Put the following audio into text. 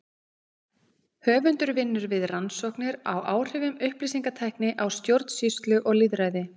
Höfundur vinnur við rannsóknir á áhrifum upplýsingatækni á stjórnsýslu og lýðræði.